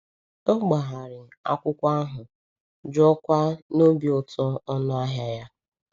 O gbagharị akwụkwọ ahụ, jụọkwa n’obi ụtọ ọnụ ahịa ya.